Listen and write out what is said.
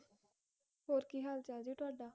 ਹੋਰ ਕੀ ਹਾਲ ਚਾਲ ਜੀ ਤੁਹਾਡਾ?